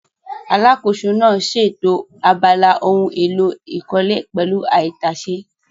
Alákòóso náà ṣètò abala ohun èlò ìkọ́lé pẹ̀lú àìtàsé